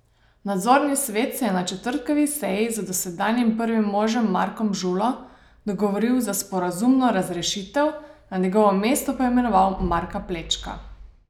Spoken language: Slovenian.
Nadzorni svet se je na četrtkovi seji z dosedanjim prvim možem Markom Žulo dogovoril za sporazumno razrešitev, na njegovo mesto pa imenoval Marka Plečka.